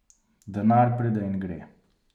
Denar pride in gre.